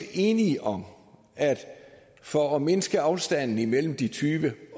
enige om at for at mindske afstanden imellem de tyve